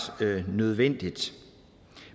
nødvendigt